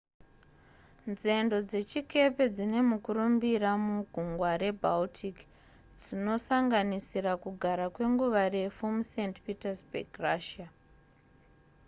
nzendo dzechikepe dzine mukurumbira mugungwa rebaltic dzinosanganisira kugara kwenguva refu must petersburg russia